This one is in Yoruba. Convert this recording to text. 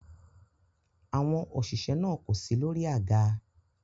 Àwọn òṣìṣẹ́ náà kò si lórí àga.